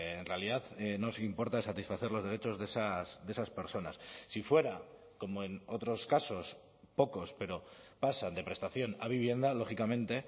en realidad nos importa satisfacer los derechos de esas personas si fuera como en otros casos pocos pero pasan de prestación a vivienda lógicamente